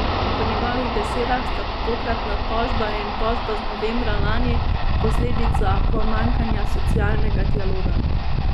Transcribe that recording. Po njegovih besedah sta tokratna tožba in tožba z novembra lani posledica pomanjkanja socialnega dialoga.